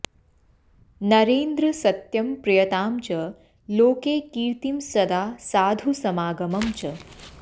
नरेन्द्रसत्यं प्रियतां च लोके कीर्तिं सदा साधुसमागमं च